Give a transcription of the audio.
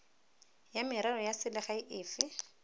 ya merero ya selegae efe